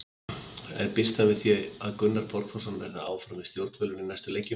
En býst hann við því að Gunnar Borgþórsson verði áfram við stjórnvölinn í næstu leikjum?